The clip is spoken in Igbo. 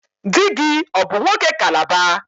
Di gi ọ bụ nwoke Calabar?